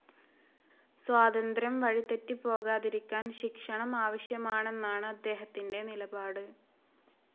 സ്വാതന്ത്ര്യം വഴിതെറ്റിപ്പോകാതിരിക്കാൻ ശിക്ഷണം ആവശ്യമാണെന്നാണ്‌ അദ്ദേഹത്തിന്റെ നിലപാട്.